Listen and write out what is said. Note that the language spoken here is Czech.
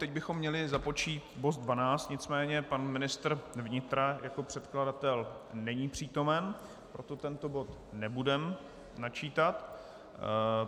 Teď bychom měli započít bod 12, nicméně pan ministr vnitra jako předkladatel není přítomen, proto tento bod nebudeme načítat.